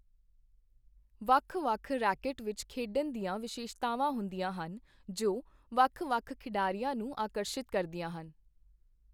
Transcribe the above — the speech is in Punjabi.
ਵੱਖ-ਵੱਖ ਰੈਕੇਟ ਵਿੱਚ ਖੇਡਣ ਦੀਆਂ ਵਿਸ਼ੇਸ਼ਤਾਵਾਂ ਹੁੰਦੀਆਂ ਹਨ, ਜੋ ਵੱਖ-ਵੱਖ ਖਿਡਾਰੀਆਂ ਨੂੰ ਆਕਰਸ਼ਿਤ ਕਰਦੀਆਂ ਹਨ।